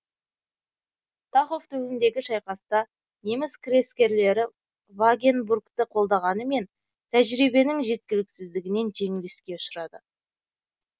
тахов түбіндегі шайқаста неміс крескерлері вагенбургті қолданғанымен тәжірибенің жеткіліксіздігінен жеңіліске ұшырады